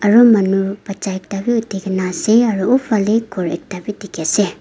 aro manu bacha ekta bi otkina asae aro oo fallae kor ekta bi diki asae.